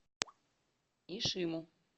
ишиму